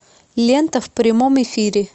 лента в прямом эфире